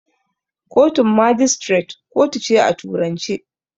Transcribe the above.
Kotun magistrate kotu ce ta turanci.